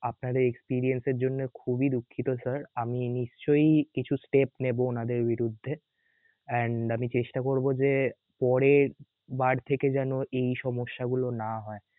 আপনাদের experience এর জন্যে খুবই দুঃখিত sir আমি নিশ্চয়ই কিছু step নেবো ওনাদের বিরুদ্ধে and আমি চেষ্টা করব যে পরের~বার থেকে যেন সমস্যা গুলো না হয়